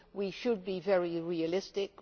We should be very realistic.